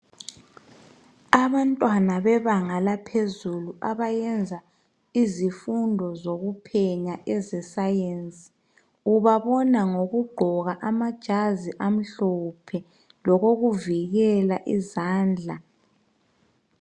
Abantwana bebanga laphezulu abayenza izifundo zokuphenya ezesayensi ubabona ngokugqoka amajazi amhlophe lokokuvikela izandla